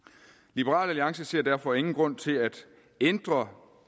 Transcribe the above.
liberal alliance ser derfor ingen grund til at ændre